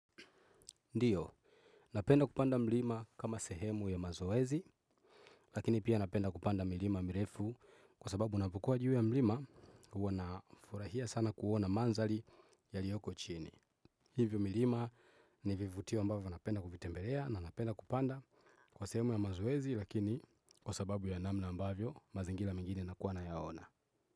Ndiyo, napenda kupanda mlima kama sehemu ya mazoezi, lakini pia napenda kupanda mlima mirefu kwa sababu unapokua juu ya mlima uwa na furahia sana kuona manzali yaliyoko chini. Hivyo milima ni vivutio ambavyo napenda kuvitembelea na napenda kupanda kwa sehemu ya mazoezi lakini kwa sababu ya namna ambavyo mazingila mengine nakuwa nayaona.